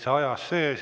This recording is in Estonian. Täitsa ajas sees.